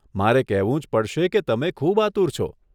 મારે કહેવું જ પડશે કે તમે ખૂબ આતુર છો.